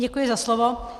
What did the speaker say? Děkuji za slovo.